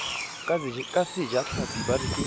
ka sejatlhapi ba re ke